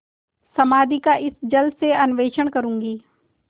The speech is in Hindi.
समाधि का इस जल से अन्वेषण करूँगी